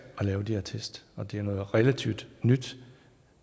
at lave de her test og det er noget relativt nyt